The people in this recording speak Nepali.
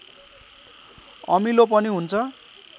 अमिलो पनि हुन्छ